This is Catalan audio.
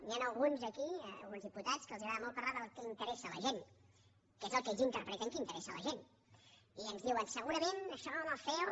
hi ha alguns aquí alguns diputats que els agrada molt parlar del que interessa la gent què és el que ells interpreten que interessa la gent i ens diuen segurament això al ceo